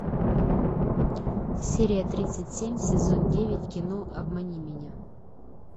серия тридцать семь сезон девять кино обмани меня